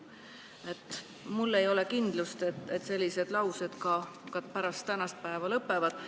Ja mul ei ole kindlust, et sellised laused ka pärast tänast päeva lõpevad.